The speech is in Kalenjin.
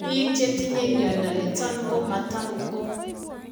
Biik chetinye mnyondo niton ko matam ko